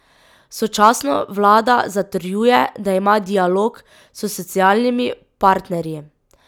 Sočasno vlada zatrjuje, da ima dialog s socialnimi partnerji.